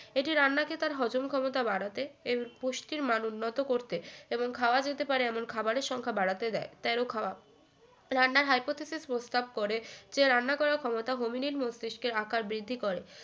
এটি রান্না কে তার হজম ক্ষমতা বাড়াতে এবং পুষ্টির মান উন্নত করতে এবং খাওয়া যেতে পারে এমন খাবারের সংখ্যা বাড়াতে দেয় তেরো খাওয়া রান্নার hypothesis প্রস্তাব করে যে রান্না করার ক্ষমতা হোমিনিড মস্তিস্কের আকার বৃদ্ধি করে